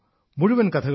മുഴുവൻ കഥകളും